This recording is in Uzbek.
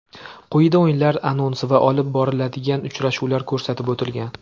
Quyida o‘yinlar anonsi va olib beriladigan uchrashuvlar ko‘rsatib o‘tilgan.